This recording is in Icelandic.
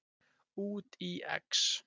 Út í Ex!